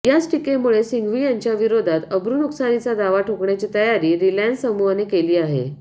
याच टीकेमुळे सिंघवी यांच्याविरोधात अब्रुनुकसानीचा दावा ठोकण्याची तयारी रिलायन्स समूहाने केली आहे